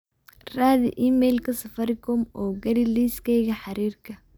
raadi iimaylka safaricom oo geli liiskayga xiriirka